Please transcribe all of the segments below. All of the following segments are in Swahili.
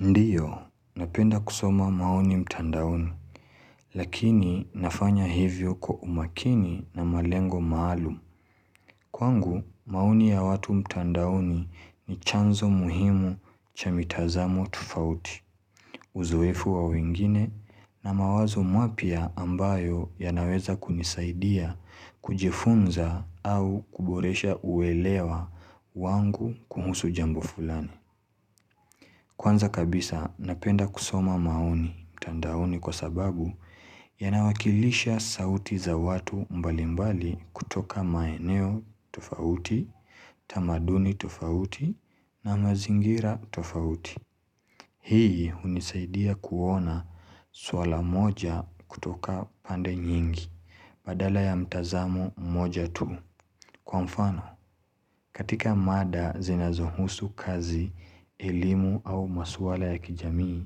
Ndio, napenda kusoma maoni mtandaoni, lakini nafanya hivyo kwa umakini na malengo maalum. Kwangu, maoni ya watu mtandaoni ni chanzo muhimu cha mitazamo tofauti, uzoefu wa wengine, na mawazo mwapya ambayo yanaweza kunisaidia, kujifunza au kuboresha uelewa wangu kuhusu jambo fulani. Kwanza kabisa napenda kusoma maoni mtandaoni kwa sababu yanawakilisha sauti za watu mbalimbali kutoka maeneo tofauti, tamaduni tofauti na mazingira tofauti. Hii hunisaidia kuona swala moja kutoka pande nyingi badala ya mtazamo mmoja tu. Kwa mfano, katika mada zinazohusu kazi, elimu au maswala ya kijamii,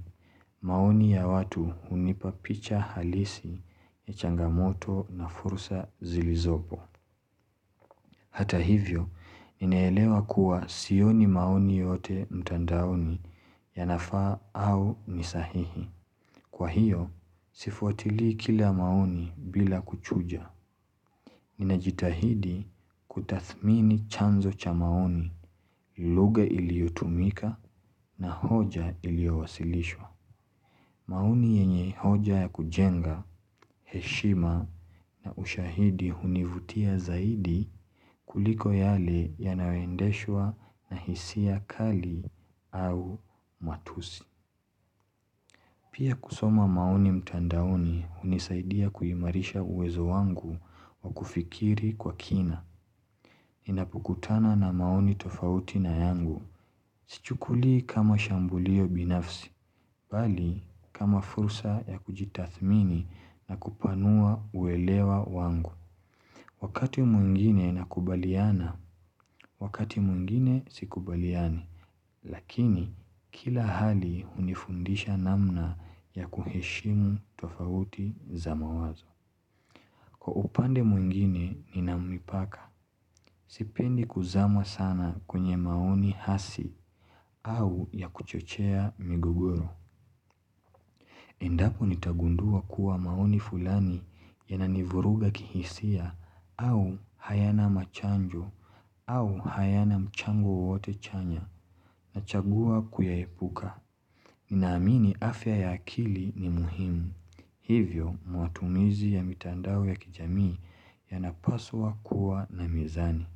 maoni ya watu hunipa picha halisi ya changamoto na fursa zilizopo. Hata hivyo, ninaelewa kuwa sioni maoni yote mtandaoni yanafaa au ni sahihi. Kwa hiyo, sifuatilii kila maoni bila kuchuja. Ninajitahidi kutathmini chanzo cha maoni lugha iliyotumika na hoja iliyowasilishwa. Maoni yenye hoja ya kujenga, heshima na ushahidi hunivutia zaidi kuliko yale yanayoendeshwa na hisia kali au matusi. Pia kusoma maoni mtandaoni hunisaidia kuimarisha uwezo wangu wa kufikiri kwa kina. Ninapokutana na maoni tofauti na yangu. Sichukuili kama shambulio binafsi, bali kama fursa ya kujitathmini na kupanua uelewa wangu. Wakati mwingine na kubaliana, wakati mwingine si kubaliani. Lakini, kila hali hunifundisha namna ya kuheshimu tofauti za mawazo. Kwa upande mwingine, ninamipaka. Sipendi kuzama sana kwenye maoni hasi au ya kuchochea migogoro. Endapo nitagundua kuwa maoni fulani yananivuruga kihisia au hayana machanjo au hayana mchango wote chanya nachagua kuyaepuka. Ninaamini afya ya akili ni muhimu. Hivyo, mwatumizi ya mitandao ya kijamii yanapaswa kuwa na mizani.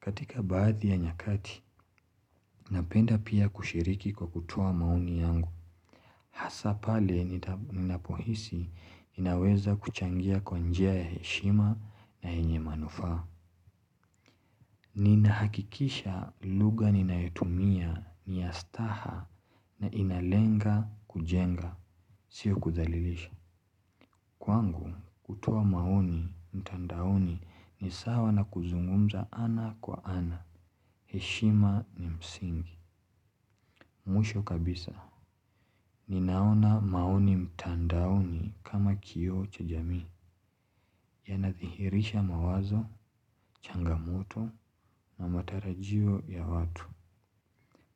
Katika baadhi ya nyakati, napenda pia kushiriki kwa kutoa maoni yangu. Hasaa pale, ninapohisi, ninaweza kuchangia kwa njia ya heshima na yenye manufaa. Ninahakikisha lugha ninayotumia ni ya staha na inalenga kujenga. Sio kudhalilisha. Kwangu, kutoa maoni mtandaoni ni sawa na kuzungumza ana kwa ana. Heshima ni msingi. Mwisho kabisa. Ninaona maoni mtandaoni kama kioo cha jamii. Yanadhihirisha mawazo, changamoto na matarajio ya watu.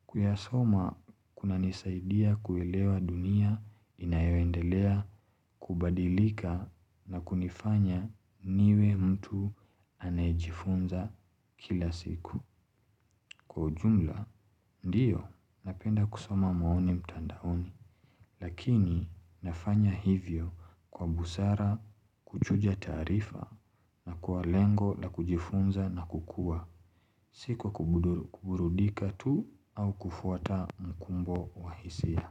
Kuyasoma, kunanisaidia kuelewa dunia inayoendelea kubadilika na kunifanya niwe mtu anayejifunza kila siku. Kwa ujumla, ndioo napenda kusoma maoni mtandaoni, lakini nafanya hivyo kwa busara kuchuja taarifa na kwa lengo la kujifunza na kukua. Si kwa kuburudika tu au kufuata mkumbo wahisia.